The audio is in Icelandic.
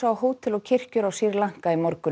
á hótel og kirkjur á Sri Lanka í morgun